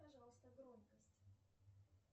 пожалуйста громкость